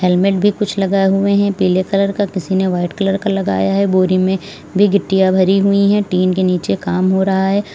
Helmet भी कुछ लगाए हुए हैं पीले कलर का किसी ने व्हाइट कलर का लगाया है बोरी में भी गिट्टियां भरी हुई है टीन के नीचे काम हो रहा है।